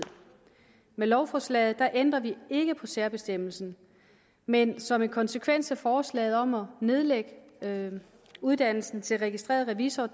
med lovforslaget ændrer vi ikke på særbestemmelsen men som en konsekvens af forslaget om at nedlægge uddannelsen til registreret revisor